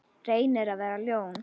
Reynir að vera ljón.